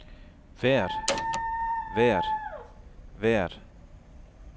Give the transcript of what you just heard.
hvert hvert hvert